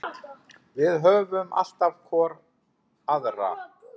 Við höfum alltaf hvor aðra.